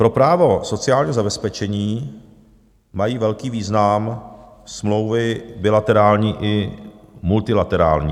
"Pro právo sociálního zabezpečení mají velký význam smlouvy bilaterální i multilaterální.